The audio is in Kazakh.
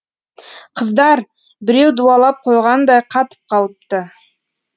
қыздар біреу дуалап қойғандай қатып қалыпты